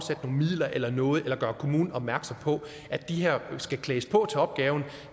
midler eller noget eller gøre kommunen opmærksom på at de her folk skal klædes på til opgaven